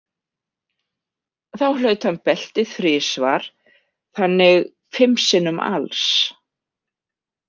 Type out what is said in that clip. Þá hlaut hann beltið þrisvar þannig fimm sinnum alls.